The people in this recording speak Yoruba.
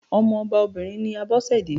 Ọmọ ọba obìnrin ni Abọ́sẹ̀dé.